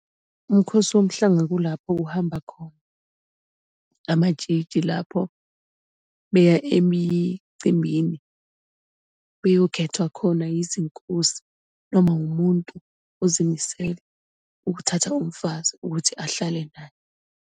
Umkhosi womhlanga kulapho kuhamba khona amatshitshi, lapho beya emicimbini, beyokhethwa khona izinkosi noma wumuntu ozimisele ukuthatha umfazi ukuthi ahlale naye.